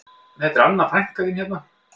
Þetta er Anna frænka þín hérna